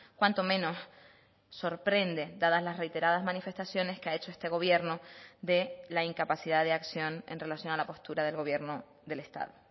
cuanto menos sorprende dadas las reiteradas manifestaciones que ha hecho este gobierno de la incapacidad de acción en relación a la postura del gobierno del estado